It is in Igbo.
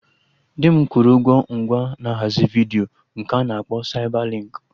Di m kwụrụ ụgwọ ngwa na ahazi vidiyo nke a na-akpọ Saibalinkị